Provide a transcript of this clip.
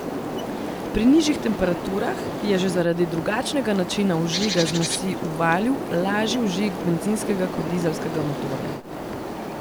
Pri nižjih temperaturah je že zaradi drugačnega načina vžiga zmesi v valju lažji vžig bencinskega kot dizelskega motorja.